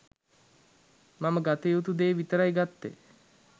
මම ගත යුතු දේ විතරයි ගත්තෙ.